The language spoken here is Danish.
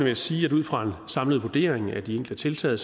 jeg sige at ud fra samlet vurdering af de enkelte tiltag